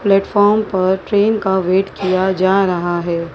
Platform पर train का wait किया जा रहा है।